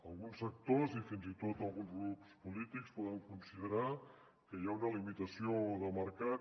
alguns sectors i fins i tot alguns grups polítics poden considerar que hi ha una limitació de mercat